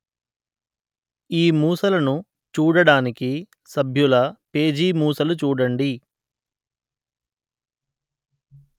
ఈ మూసలను చూడడానికి సభ్యుల పేజీ మూసలు చూడండి